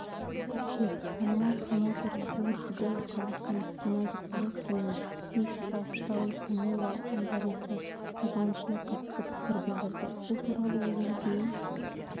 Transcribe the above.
қыркүйек танымал промоутер лу дибелла қазақстандық геннадий головкин мен мексикалық сауль канело альварестің реваншына қатысты пікір білдірді бұл туралы ол өзінің